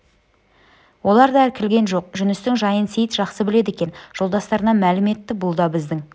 олар да іркілген жоқ жүністің жайын сейіт жақсы біледі екен жолдастарына мәлім етті бұл да біздің